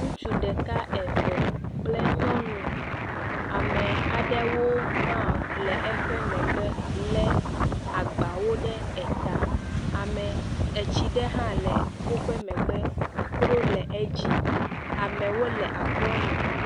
Ŋutsu ɖeka eve kple nyɔnu, ame aɖewo hã le eƒe megbe lé agbawo ɖe ta, ame, etsi ɖe hã le woƒe megbe, akro hã le edzi, amewo le akro me.